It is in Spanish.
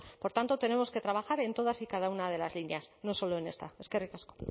por tanto tenemos que trabajar en todas y cada una de las líneas no solo en esta eskerrik asko